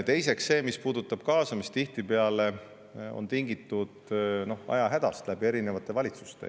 Teiseks see, mis puudutab kaasamist, tihtipeale on tingitud ajahädast läbi erinevate valitsuste.